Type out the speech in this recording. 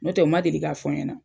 N'o tɛ u ma deli ka fɔ n ɲɛna.